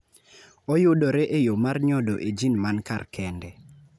Oyudore e yo mar nyodo e jin man kar kende.